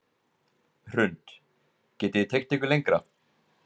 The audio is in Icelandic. Hrund: Getið þið teygt ykkur lengra?